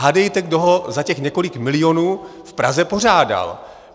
Hádejte, kdo ho za těch několik milionů v Praze pořádal.